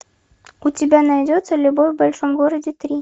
у тебя найдется любовь в большом городе три